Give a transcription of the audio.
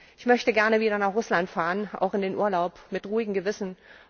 Ich möchte gerne wieder nach Russland fahren, auch in den Urlaub, mit ruhigem Gewissen.